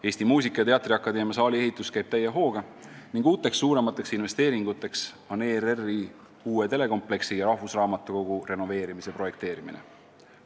Eesti Muusika- ja Teatriakadeemia saali ehitus käib täie hooga ning uued suuremad investeeringud on ERR-i uue telekompleksi ja rahvusraamatukogu renoveerimise projekteerimine.